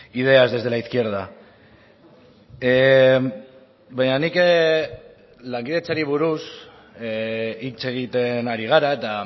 ideas desde la izquierda baina nik lankidetzari buruz hitz egiten ari gara eta